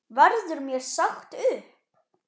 Verður mér sagt upp?